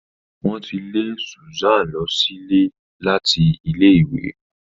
Wọn ti lè Susan lọ sí ilé láti ilẹ ìwé.